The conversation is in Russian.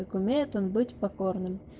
как умеет он быть покорным